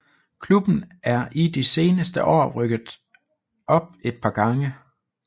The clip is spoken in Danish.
Klubben er i de seneste år rykket op et par gange